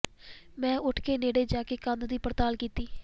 ਮੈਂ ਉੱਠ ਕੇ ਨੇੜੇ ਜਾਕੇ ਕੰਧ ਦੀ ਪੜਤਾਲ ਕੀਤੀ